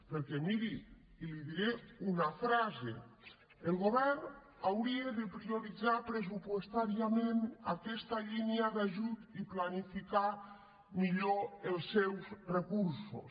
perquè miri i li diré una frase el govern hauria de prioritzar pressupostàriament aquesta línia d’ajut i planificar millor els seus recursos